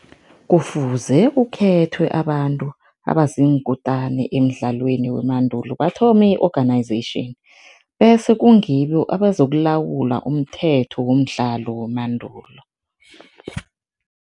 Kufuze kukhethwe abantu abaziinkutani emidlalweni wemandulo, bathome i-organization bese kungibo abazokulawula umthetho womdlalo wemandulo.